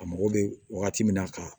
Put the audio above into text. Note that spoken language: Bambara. A mago bɛ wagati min na ka